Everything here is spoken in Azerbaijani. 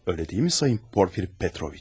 Öylə deyilmi sayın Porfir Petroviç?